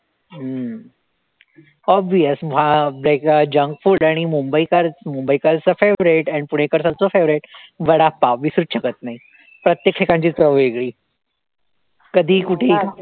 हम्म obvious भा बे junk food आणि मुंबईकर, मुंबईकरचं favorite आणि पुढे कर्जतचं favorite वडापाव विसरूचं शकतं नाही, प्रत्येक ठिकाणची चव वेगळी कधीही कुठेही